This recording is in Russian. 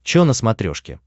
чо на смотрешке